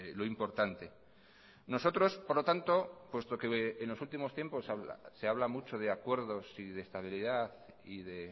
lo importante nosotros por lo tanto puesto que en los últimos tiempos se habla mucho de acuerdos y de estabilidad y de